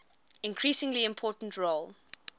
increasingly important role